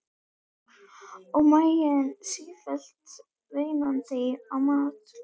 Og maginn sífellt veinandi á mat.